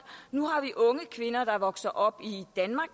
nu har vi unge kvinder der vokser op i danmark